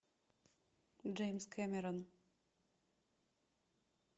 джеймс кэмерон